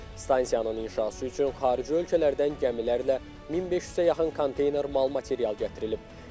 Stansiyanın inşası üçün xarici ölkələrdən gəmilərlə 1500-ə yaxın qan konteyner mal material gətirilib.